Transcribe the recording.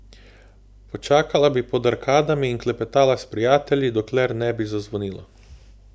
Počakala bi pod arkadami in klepetala s prijatelji, dokler ne bi zazvonilo.